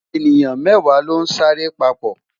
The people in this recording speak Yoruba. eniyan mẹwa lon sa re papo